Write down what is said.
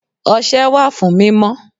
Ose wà fún mímọ.